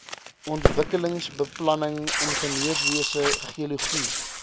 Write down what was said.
ontwikkelingsbeplanning ingenieurswese geologie